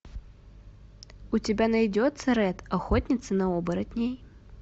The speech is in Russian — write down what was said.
у тебя найдется рэд охотница на оборотней